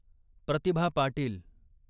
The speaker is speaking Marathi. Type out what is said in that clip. प्रतिभा पाटील